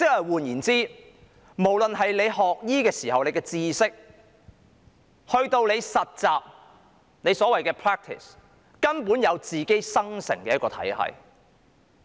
換言之，不論是學醫時學習到的知識，以至是所謂的實習，根本是自然生成的一個體系。